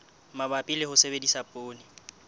mabapi le ho sebedisa poone